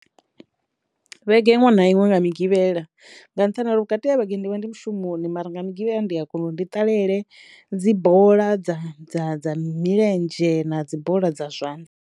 Vhege iṅwe na iṅwe nga migivhela nga nṱhani ha uri vhukati ha vhege ndi vha ndi mushumoni mara nga migivhela ndi a kona uri ndi ṱalele dzi bola dza dza dza milenzhe na dzi bola dza zwanḓa.